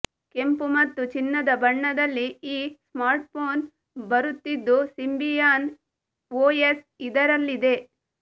ಕೆಂಪು ಮತ್ತು ಚಿನ್ನದ ಬಣ್ಣದಲ್ಲಿ ಈ ಸ್ಮಾರ್ಟ್ಫೋನ್ ಬರುತ್ತಿದ್ದು ಸಿಂಬಿಯನ್ ಓಎಸ್ ಇದರಲ್ಲಿದೆ